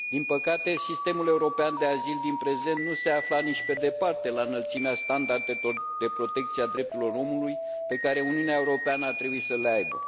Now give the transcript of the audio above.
Din păcate, sistemul european de azil din prezent nu se afla nici pe departe la înălțimea standardelor de protecție a drepturilor omului pe care Uniunea Europeană a trebui să le aibă.